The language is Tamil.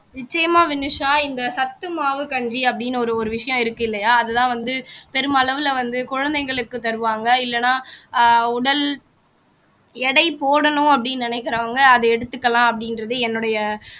நிச்சயமா வினுஷா இந்த சத்து மாவு கஞ்சி அப்படின்னு ஒரு ஒரு விஷயம் இருக்கு இல்லையா அதுதான் வந்து பெருமளவுல வந்து குழந்தைகளுக்கு தருவாங்க இல்லைன்னா அஹ் உடல் எடை போடணும் அப்படீன்னு நினைக்கிறவங்க அத எடுத்துக்கலாம் அப்படின்றது என்னுடைய